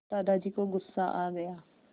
दादाजी को गुस्सा आ गया